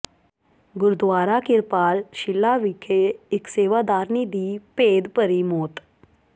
ਗੁਰਦੁਆਰਾ ਕਿਰਪਾਲ ਸ਼ਿਲਾ ਵਿਖੇ ਇਕ ਸੇਵਾਦਾਰਨੀ ਦੀ ਭੇਦਭਰੀ ਮੌਤ